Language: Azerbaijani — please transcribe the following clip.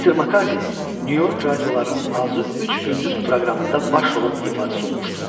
Mister Makardi Nyu-York radiolarının azı üç gündüz proqramında baş rolun ifaçısı olmuşdu.